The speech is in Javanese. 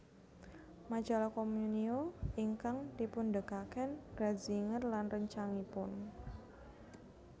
Majalah Communio ingkang dipundegaken Ratzinger lan réncangipun